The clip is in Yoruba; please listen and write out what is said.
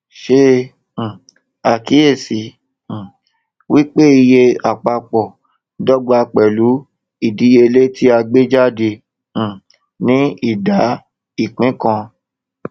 ṣe um àkíyèsí um wípé iye àpapọ dọgba pẹlú ìdíyelé tí a gbé jáde um ní ìdá ìpín kan